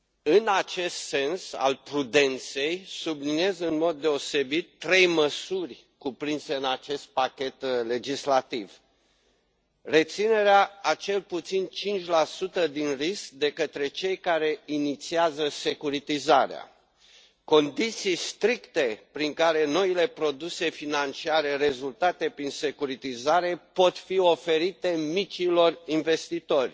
În acest sens, al prudenței, subliniez în mod deosebit trei măsuri cuprinse în acest pachet legislativ reținerea a cel puțin 5 din risc de către cei care inițiază securitizarea, condiții stricte prin care noile produse financiare, rezultate prin securitizare, pot fi oferite micilor investitori